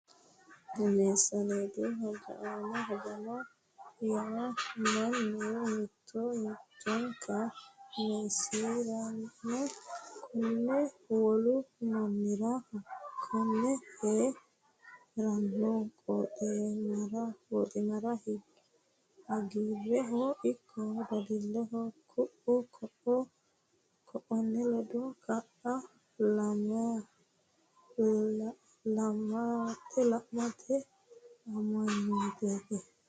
Meessaneetu hajama yaa mannu mittu mittunku meessisirano ikko wolu mannira hakkonne hee ranno qooximarira hagiirrehono ikko dadilleho ku u ku unni ledo kaa lamate amanyooteeti.